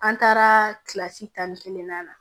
An taara tan ni kelen na